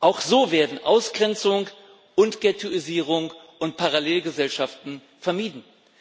Auch so werden Ausgrenzung, Gettoisierung und Parallelgesellschaften vermieden.